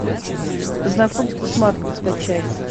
знакомство с марком скачай